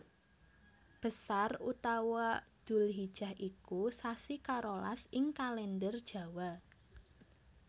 Besar utawa Dzulhijah iku sasi karolas ing Kalèndher Jawa